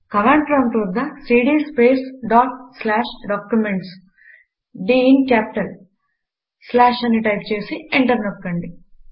command prompt వద్ద CD space dot slash documents slash అని type చేసి ఎంటర్ నొక్కండి